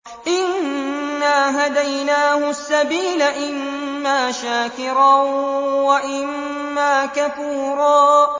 إِنَّا هَدَيْنَاهُ السَّبِيلَ إِمَّا شَاكِرًا وَإِمَّا كَفُورًا